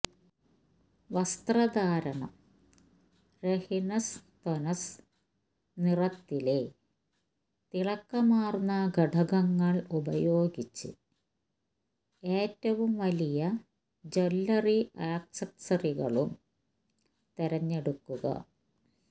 വസ്ത്രധാരണം ന് ര്ഹിനെസ്തൊനെസ് നിറം ലെ തിളക്കമാർന്ന ഘടകങ്ങൾ ഉപയോഗിച്ച് ഏറ്റവും വലിയ ജ്വല്ലറി ആക്സസറികളും തിരഞ്ഞെടുക്കുക